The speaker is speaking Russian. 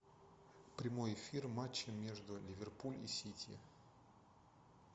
прямой эфир матча между ливерпуль и сити